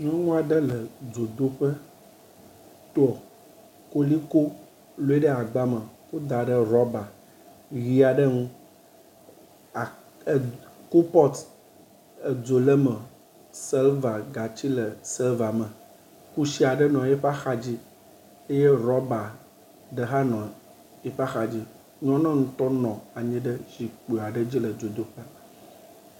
Nyɔnu aɖe le dzodoƒe tɔ koliko, lɔe ɖe agba me kɔe da ɖe ɖɔba ʋi aɖe ŋu a kupɔt edzo le eme silva gati le silva me. Kusi aɖe nɔ eƒe axadzi eye ɖɔba aɖe hã nɔ eƒe axadzi. Nyɔnua ŋutɔ nɔ anyi ɖe zikpui aɖe dzi le dzodoƒea.